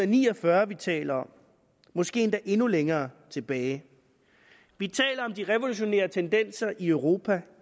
ni og fyrre vi taler om måske endda endnu længere tilbage vi taler om de revolutionære tendenser i europa